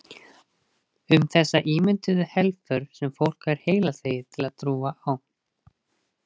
Um þessa ímynduðu helför sem fólk er heilaþvegið til að trúa á.